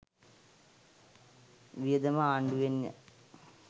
වියදම ආණ්ඩුවෙන්ය.